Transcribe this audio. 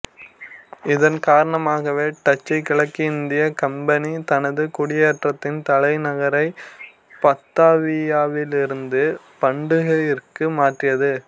இதன் காரணமாகவே டச்சு கிழக்கிந்தியக் கம்பனி தனது குடியேற்றத்தின் தலைநகரை பத்தாவியாவிலிருந்து பண்டுங்கிற்கு மாற்றியது